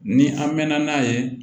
Ni an mɛnna n'a ye